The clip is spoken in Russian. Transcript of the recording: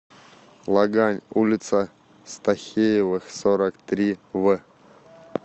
лагань улица стахеевых сорок три в